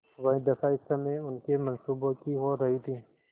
वही दशा इस समय उनके मनसूबों की हो रही थी